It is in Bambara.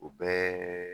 O bɛɛ